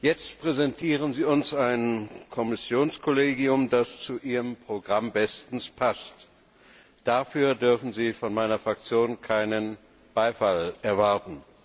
Jetzt präsentieren Sie uns ein Kommissionskollegium, das zu Ihrem Programm bestens passt. Dafür dürfen Sie von meiner Fraktion keinen Beifall erwarten.